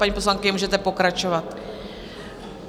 Paní poslankyně, můžete pokračovat.